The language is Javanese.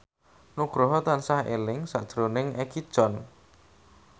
Nugroho tansah eling sakjroning Egi John